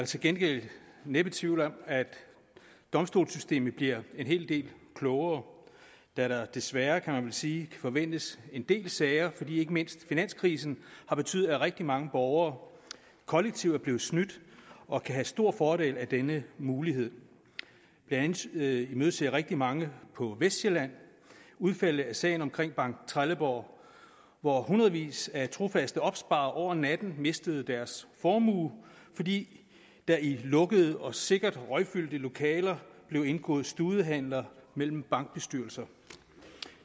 til gengæld næppe tvivl om at domstolssystemet bliver en hel del klogere da der desværre kan man vel sige kan forventes en del sager fordi ikke mindst finanskrisen har betydet at rigtig mange borgere kollektivt er blevet snydt og kan have stor fordel af denne mulighed blandt andet imødeser rigtig mange på vestsjælland udfaldet af sagen om banktrelleborg hvor hundredvis af trofaste opsparere over natten mistede deres formue fordi der i lukkede og sikkert røgfyldte lokaler blev indgået studehandler mellem bankbestyrelser